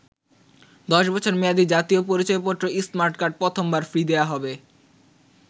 ১০ বছর মেয়াদি জাতীয় পরিচয়পত্র স্মার্ট কার্ড প্রথমবার ফ্রি দেয়া হবে।